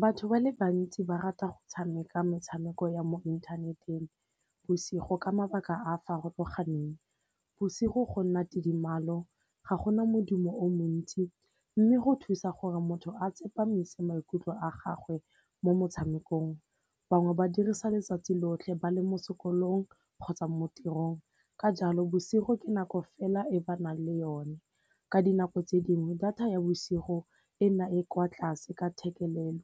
Batho ba le bantsi ba rata go tshameka metshameko ya mo inthaneteng bosigo ka mabaka a a farologaneng. Bosigo go nna tidimalo ga gona modimo o montsi, mme go thusa gore motho a tsepamise maikutlo a gagwe mo motshamekong. Bangwe ba dirisa letsatsi lotlhe ba le mo sekolong kgotsa mo tirong, ka jalo bosigo ke nako fela e ba nang le yone. Ka dinako tse dingwe data ya bosigo e na e kwa tlase ka thekelelo